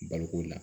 Baloko la